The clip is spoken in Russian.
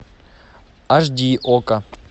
аш ди окко